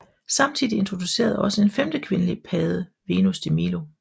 Samtidig introduceredes også en femte kvindelig padde Venus de Milo